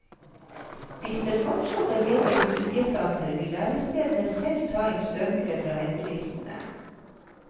Hvis det fortsatt er ledige studieplasser, vil lærestedene selv ta inn søkere fra ventelistene.